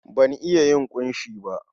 Ban iya yin ƙunshi ba.